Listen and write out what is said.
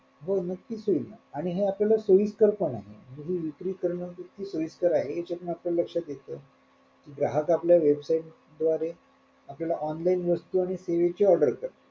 हो नक्कीच होईल ना आणि हे आपल्याला सोईस्कर पण आहे म्हणजे विक्री करणं इतकं सोईस्कर आहे याच्यातून आपल्याला लक्षात येत ग्राहक आपल्या website द्वारे आपल्याला online वस्तू आणि सेवेची order